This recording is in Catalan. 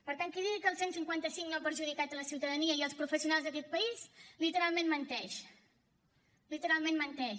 per tant qui digui que el cent i cinquanta cinc no ha perjudicat la ciutadania i els professionals d’aquest país literalment menteix literalment menteix